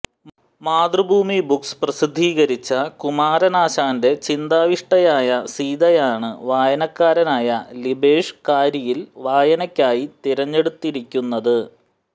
Mathrubhumi books പ്രസിദ്ധീകരിച്ച കുമാരനാശാന്റെ ചിന്താവിഷ്ടയായ സീതയാണ് വായനക്കാരനായ ലിബേഷ് കാരിയിൽ വായനയ്ക്കായി തിരഞ്ഞെടുത്തിരിക്കുന്നത്